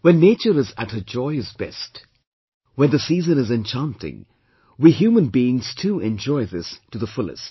When nature is at her joyous best, when the season is enchanting, we human beings too enjoy this to the fullest